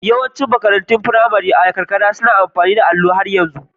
Yawancin makarantun firamare a yankunan karkara suna amfani da allo har yanzu.